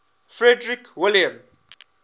frederick william